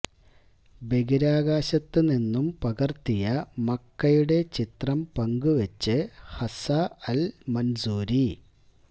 ബഹിരാകാശത്ത് നിന്നും പകര്ത്തിയ മക്കയുടെ ചിത്രം പങ്കുവെച്ച് ഹസ്സ അല് മന്സൂരി